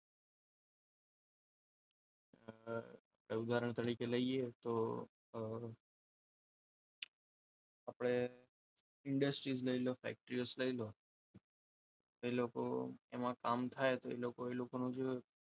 ઉદાહરણ તરીકે લઈએ તો આપણે industry લઈ લો ફેક્ટરી લઈ લો એ લોકો એમાં કામ થાય તો એ લોકોનું જે